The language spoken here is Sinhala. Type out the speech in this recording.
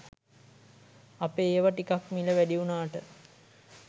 අපේ ඒව ටිකක් මිල වැඩිවුනාට